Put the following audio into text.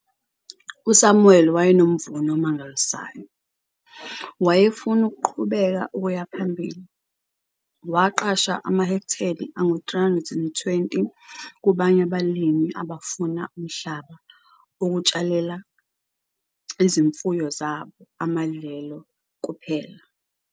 USamuel wayenomvuno omangalisayo, wayefuna ukuqhubeka ukuya phambili. Waqasha amahekteli angu-320 kubanye abalimi abafuna umhlaba ukutshalela izimfuyo zabo amadlelo kuphelahectare from a group of emerging farmers who were only interested in the grazing.